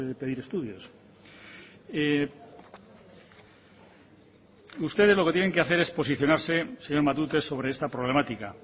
pedir estudios ustedes lo que tienen que hacer es posicionarse señor matute sobre esta problemática